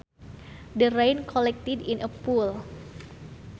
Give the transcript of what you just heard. The rain collected in a pool